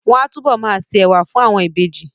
Wọ́n á túbọ̀ ma se ẹ̀wà fún àwọn ìbejì